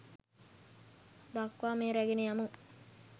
දක්වා මෙය රැගෙන යමු